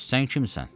Bəs sən kimsən?